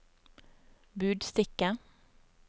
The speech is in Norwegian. budstikke